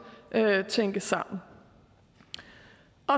tænkes sammen